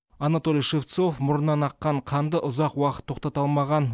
анатолий шевцов мұрнынан аққан қанды ұзақ уақыт тоқтата алмаған